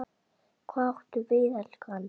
Hvað áttu við, elskan?